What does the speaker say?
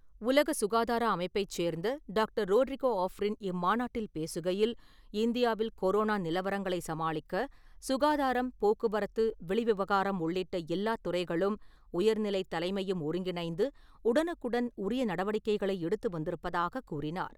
உலக சுகாதார அமைப்பைச் சேர்ந்த டாக்டர் ரோட்ரிகோ ஆஃப்ரின் இம்மாநாட்டில் பேசுகையில், இந்தியாவில் கொரோனா நிலவரங்களை சமாளிக்க, சுகாதாரம், போக்குவரத்து, வெளி விவகாரம் உள்ளிட்ட எல்லா துறைகளும் உயர்நிலைத் தலைமையும் ஒருங்கிணைந்து உடனுக்குடன் உரிய நடவடிக்கைகளை எடுத்து வந்திருப்பதாக கூறினார்.